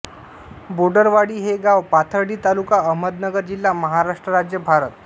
बोडरवाडी हे गाव पाथर्डी तालुका अहमदनगर जिल्हा महाराष्ट्र राज्य भारत